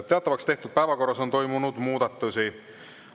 Teatavaks tehtud päevakorras on toimunud muudatusi.